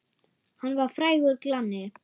Hann var frægur glanni.